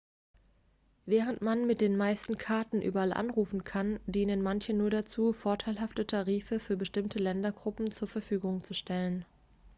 während man mit den meisten karten überall anrufen kann dienen manche nur dazu vorteilhafte tarife für bestimmte ländergruppen zur verfügung zu stellen